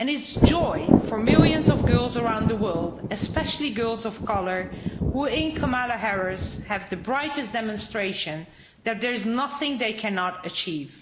And it's a joy for millions of girls around the world, especially girls of colour, who in Kamala Harris have the brightest demonstration that there's nothing they cannot achieve.